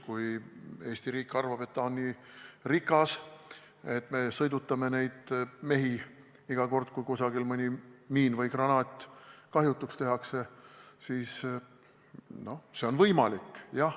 Kui Eesti riik arvab, et ta on nii rikas, et me sõidutame neid mehi iga kord, kui kusagil mõni miin või granaat kahjutuks tehakse, siis see on võimalik.